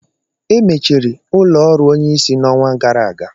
Emechiri ụlọ ọrụ onyeisi n'ọnwa gara aga.